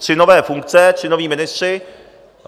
Tři nové funkce, tři noví ministři.